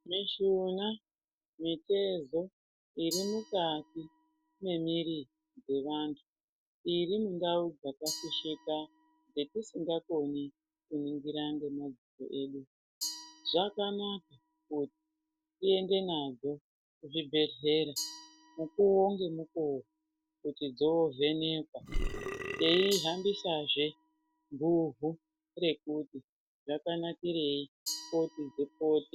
Mishuna, mitezo iri mukati memiiri yevanthu iri mundau dzakafishika dzetisingakoni kuningira ngemadziso edu zvakanaka kuti tiende nadzo kuzvibhedhlera mukuwo ngemukuwo kuti dzovhenekwa teihambisazve guhu rekuti zvakanakirei kuti dzipotwe.